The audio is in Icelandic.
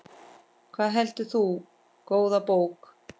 Hvað heldur þú, góða bók?